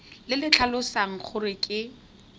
le le tlhalosang gore ke